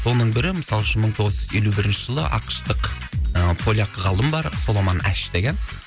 оның бірі мысалы үшін мың тоғыз жүз елу бірінші жылы ақш тық ы поляк ғалым бар соломон аш деген